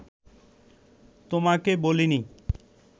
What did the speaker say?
তোমাকে বলিনি